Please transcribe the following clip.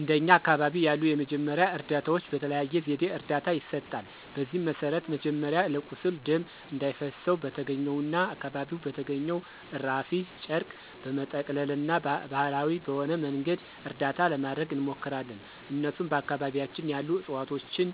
እንደኛ አካባቢ ያሉ የመጀመሪያ እርዳታዎች በተለያየ ዘዴ እርዳታ ይሰጣል። በዚህም መሰረት መጀመሪያ ለቁስል ደም እንዳይፈሰው በተገኘውና አካባቢው በተገኘው እራፊ ጨርቅ በመጠቅለልና ባሀላዊ በሆነ መንገድ እርዳታ ለማድረግ እንሞክራለን እነሱም በአካባቢያችን ያሉ እፅዋቶችን